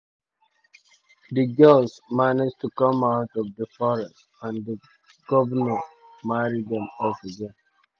di um girls manage to come out of di forest um and di govnor marry dem off again.